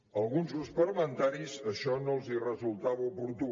a alguns grups parlamentaris això no els resultava oportú